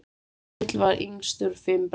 Egill var yngstur fimm bræðra.